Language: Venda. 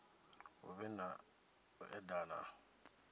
hu vhe na u edana